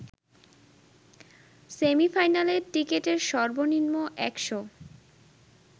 সেমি-ফাইনালের টিকেটের সর্বনিম্ন ১০০